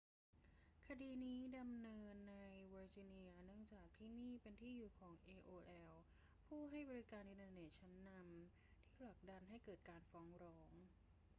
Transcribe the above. คดีนี้ดำเนินในเวอร์จิเนียเนื่องจากที่นี่เป็นที่อยู่ของ aol ผู้ให้บริการอินเทอร์เน็ตชั้นนำที่ผลักดันให้เกิดการฟ้องร้อง